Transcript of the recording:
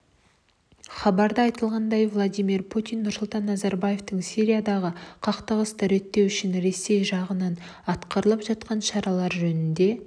хабарда айтылғандай владимир путин нұрсұлтан назарбаевты сириядағы қақтығысты реттеу үшін ресей жағынан атқарылып жатқан шаралар жөнінде